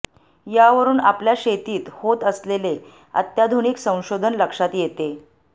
यावरून आपल्या शेतीत होत असलेले अत्याधुनिक संशोधन लक्षात येते